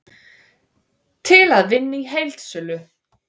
Til að vinna í heildsölu